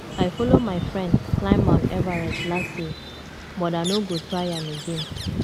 i follow my friend climb mount everest last year but i no go try am again